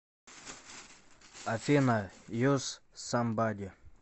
афина юз самбади